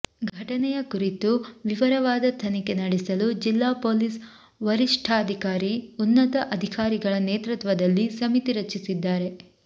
ಘಟನೆಯ ಕುರಿತು ವಿವಿರವಾದ ತನಿಖೆ ನಡೆಸಲು ಜಿಲ್ಲಾ ಪೊಲೀಸ್ ವರಿಷ್ಠಾಧಿಕಾರಿ ಉನ್ನತ ಅಧಿಕಾರಿಗಳ ನೇತೃತ್ವದಲ್ಲಿ ಸಮಿತಿ ಸಚಿಸಿದ್ದಾರೆ